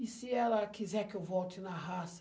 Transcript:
E se ela quiser que eu volte na raça?